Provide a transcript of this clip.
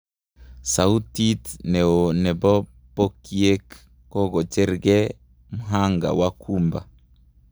Sautit neo nepo pokyiek kokojernge mhanga wakumba